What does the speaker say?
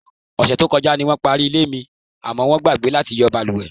Ò̩sè̩ tó ko̩já ni wó̩n parí ilé mi, àmó̩ wó̩n gbàgbé láti yo̩ balùwè.